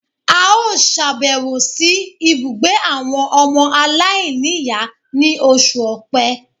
A ó sàbẹ̀wò sí ibùgbé àwọn ọmọ aláìníìyá ní oṣù Òpe